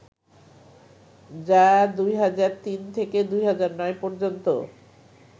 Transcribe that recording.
যা ২০০৩ থেকে ২০০৯ পর্যন্ত